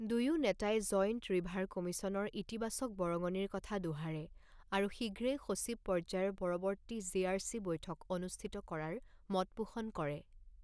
দুয়ো নেতাই joint river কমিশ্যনৰ ইতিবাচক বৰঙণিৰ কথা দোহাৰে আৰু শীঘ্ৰেই সচিব পৰ্যায়ৰ পৰৱৰ্তী জেআৰচি বৈঠক অনুষ্ঠিত কৰাৰ মতপোষণ কৰে।